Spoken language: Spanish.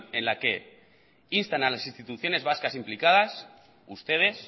en la que instan a las instituciones vascas implicadas ustedes